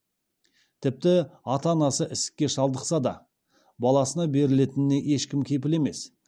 тіпті ата анасы ісікке шалдықса да баласына берілетініне ешкім кепіл емес